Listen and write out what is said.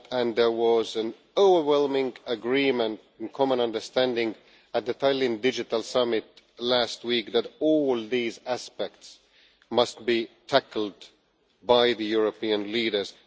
There was overwhelming agreement and a common understanding at the Tallinn Digital Summit last week that all these aspects must be tackled by the European leaders.